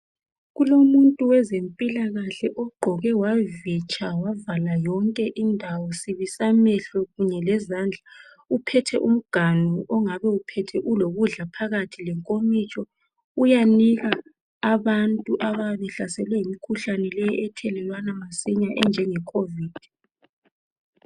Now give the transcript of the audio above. Kulomuntu wezempilakahle ogqoke wavitsha wavala zonke indawo. Sibi samehlo kunye lezandla. Uphethe umganu ongabe uphethe ulokudla phakathi lenkomitsho uyanika abantu abayabe behlaselwe yimikhuhlane leyi enjenge COVID.